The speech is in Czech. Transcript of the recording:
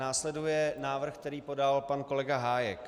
Následuje návrh, který podal pan kolega Hájek.